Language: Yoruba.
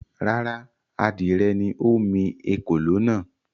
Rárá, adìrẹ ni ó mi “ ekòló” náà.